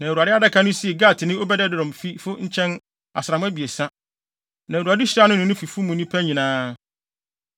Na Awurade adaka no sii Gatni Obed-Edom fifo nkyɛn asram abiɛsa, na Awurade hyiraa no ne ne fi mu nnipa nyinaa.